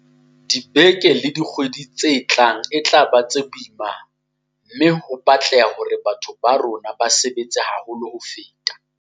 Dibeke le dikgwedi tse tlang e tla ba tse boima mme ho tla batleha hore batho ba bo rona ba sebetse haholo ho feta.